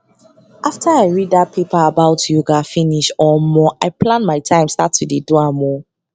after i read that paper about yoga finish omo i plan my time start to dey do am o